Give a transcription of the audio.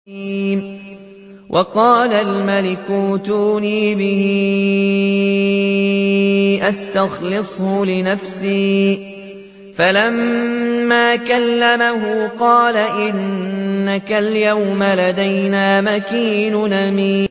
وَقَالَ الْمَلِكُ ائْتُونِي بِهِ أَسْتَخْلِصْهُ لِنَفْسِي ۖ فَلَمَّا كَلَّمَهُ قَالَ إِنَّكَ الْيَوْمَ لَدَيْنَا مَكِينٌ أَمِينٌ